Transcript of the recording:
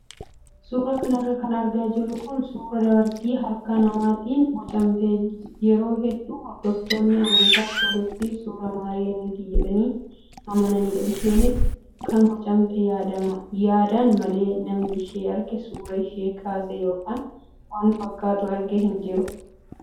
Suuraa kanarra kan argaa jirru kun suuraa dubartii harka namaatiin bocamtee yeroo hedduu hordoftoonni amantaa ortodoksii suuraa maariyaamiiti jedhanii amananidha. Isheenis kan bocamte yaadaan malee namni ishee argee suuraa ishee kaase yookaan waan fakkaattu arge hin jiru.